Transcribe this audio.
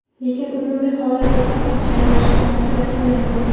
Lekin umumiy hollarda saqich chaynashni tavsiya qilmayman.